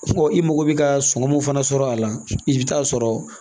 i mago bɛ ka sɔŋɔ mun fana sɔrɔ a la i bɛ taa sɔrɔ